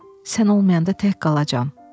Sən olmayanda tək qalacam.